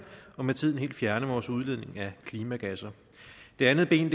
og med tiden helt fjerne vores udledning af klimagasser det andet ben